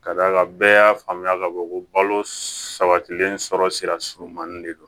Ka d'a kan bɛɛ y'a faamuya ka fɔ ko balo sabatilen sɔrɔ sira surunmanin de don